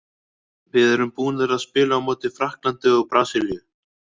Við erum búnar að spila á móti Frakklandi og Brasilíu.